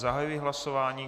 Zahajuji hlasování.